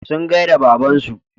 Sun gaida babansu.